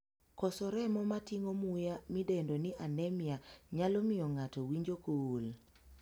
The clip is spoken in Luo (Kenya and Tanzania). Koso remo ma ting'o muya, midendo ni 'anemia' nyalo miyo ng'ato winjo koool.